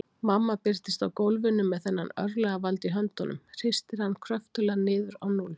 Mamma birtist á gólfinu með þennan örlagavald í höndunum, hristir hann kröftuglega niður á núll.